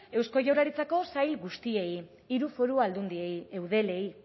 eusko jaurlaritzako sail guztiei hiru foru aldundiei eudelei